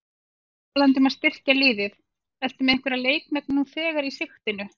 Talandi um að styrkja liðið, ertu með einhverja leikmenn nú þegar í sigtinu?